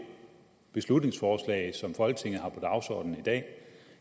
beslutningsforslag som folketinget har på dagsordenen i dag